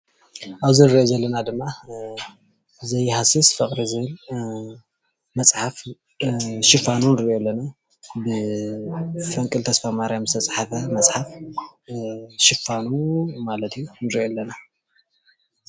አብዚ እንሪኦ ዘለና ድማ ዘይሃስስ ፍቅሪ ዝብል መፅሓፍ ሽፋኑ ንርኦ ኣለና፡፡ ብፈንቅል ተስፋማርያም ዝተፃሓፈ መፅሓፍ ሽፋኑ ማለት ንርኢ ኣለና፡፡